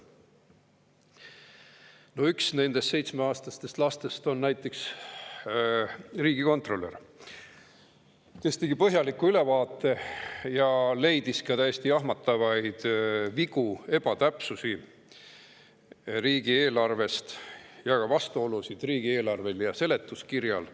No üks nendest seitsmeaastastest lastest on näiteks riigikontrolör, kes tegi põhjaliku ülevaate ja leidis riigieelarvest täiesti jahmatavaid vigu ja ebatäpsusi, vastuolusid riigieelarve ja seletuskirja vahel.